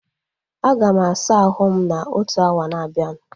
A ga m asa ahụ m na otu awa na abianu